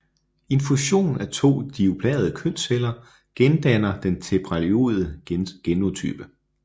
En fusion af to diploide kønsceller gendanner den tetraploide genotype